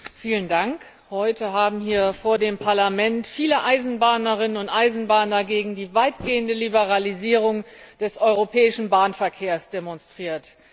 Herr Präsident! Heute haben hier vor dem Parlament viele Eisenbahnerinnen und Eisenbahner gegen die weitgehende Liberalisierung des europäischen Bahnverkehrs demonstriert.